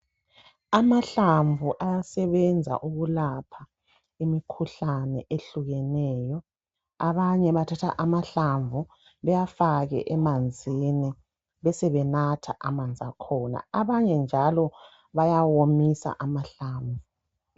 Amahlamvu ayasebenza ukulapha imikhuhlane ehlukeneyo. Abanye bathatha amahlamvu bewafake emanzini besebenatha. Abanye njalo bayawomisa amahlamvu.